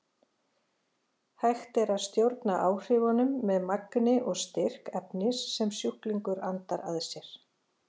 Hægt er að stjórna áhrifunum eftir magni og styrk efnis sem sjúklingur andar að sér.